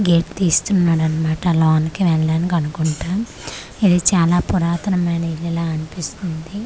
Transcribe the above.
Gate తీస్తున్నాడన్మాట లోనకి వెళ్లడానికి అనుకుంటా ఇది చాలా పురాతనమైన ఇల్లు లా అన్పిస్తుంది.